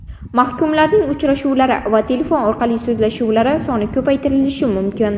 Mahkumlarning uchrashuvlari va telefon orqali so‘zlashuvlari soni ko‘paytirilishi mumkin.